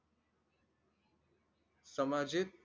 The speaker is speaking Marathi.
सामाजिक